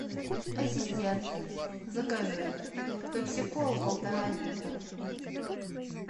ассистент закажи пепси колу полтора литра